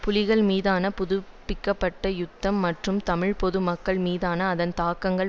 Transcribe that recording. புலிகள் மீதான புதுப்பிக்க பட்ட யுத்தம் மற்றும் தமிழ் பொது மக்கள் மீதான அதன் தாக்கங்கள்